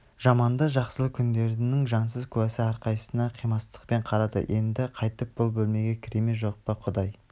жаманды-жақсылы күндерінің жансыз куәсі әрқайсысына қимастықпен қарады енді қайтып бұл бөлмеге кіре ме жоқ па құдай